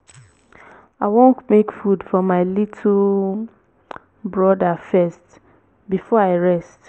i wan make food for my little broda first before i rest